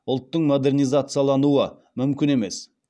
ұлттың модернизациялануы мүмкін емес